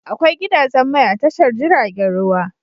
Akwai gidajen mai a tashar jiragen ruwa.